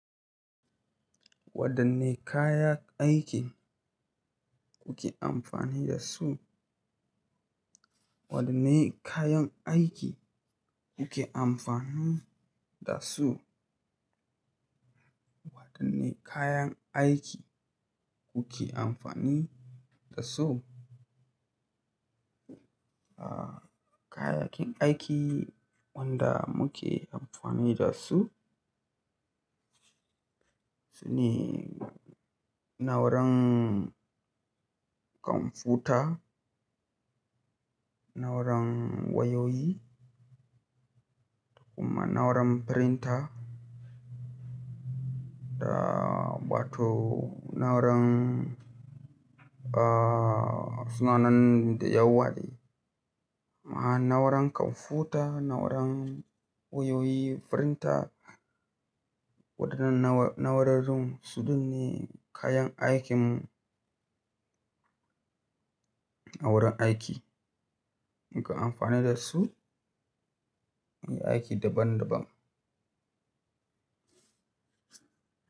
Wadanne kaya aiki kuke amfani da su? Wadanne kayan aiki kuke amfani da su? Wadanne kayan aiki kuke amfani da su? Ah, kayayyakin aiki wanda muke amfani da su, sune na'uran kwamfuta, na'uran wayoyi, kuma na'uran printer. Da bata na'uran ah, suna nan da yawa ne. Na'uran kwamfuta, na'uran wayoyi, printer. Waɗannan na'urorin su din ne kayan aikin a wurin aiki. Muka amfani da su muyi aiki daban daban.